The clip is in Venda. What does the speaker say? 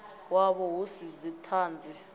wavho hu si na dzithanzi